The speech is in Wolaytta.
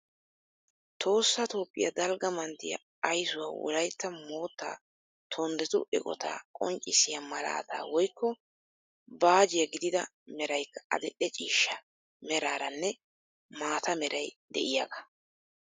Tohossa Toophphiya dalgga manttiya aysuwa wolaytta moottaa tonddetu eqotaa qonccissiya malaataa woykko baajiya gididi meraykka adil"e ciishsha meraaranne maata merayde'iyagaa.